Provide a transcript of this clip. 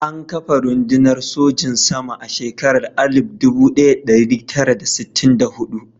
An kafa rundunar sojin sama a shekarar 1964.